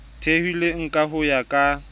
theilweng ka ho ya ka